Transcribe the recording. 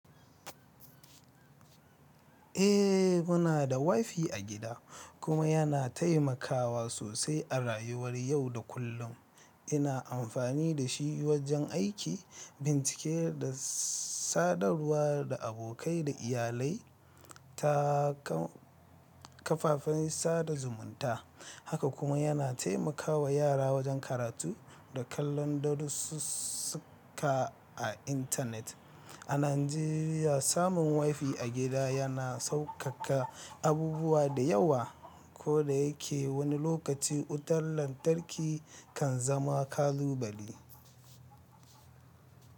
Eh, muna da WiFi a gida kuma yana taimakawa sosai a rayuwar yau da kullum. Ina amfani da shi wajen aiki, bincike da sadarwa da abokai da iyalai ta kafafen sada zumunta. Haka kuma yana taimaka wa yara wajen karatu da kallon darussuka a intanet. A Najeriya, samun WiFi a gida yana saukaka abubuwa da yawa. Koda yake wani lokaci wutar lantarki kan zama ƙalubale.